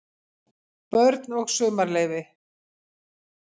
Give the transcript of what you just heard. BÖRN OG SUMARLEYFI